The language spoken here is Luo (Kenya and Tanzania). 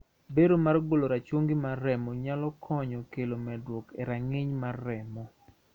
Bero mar golo rachungi mar remo nyalo kelo medruok e rang`iny mar remo.